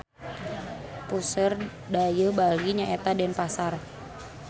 Puseur dayeuh Bali nyaeta Denpasar.